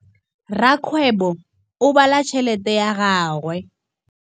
Rakgwêbô o bala tšheletê ya gagwe.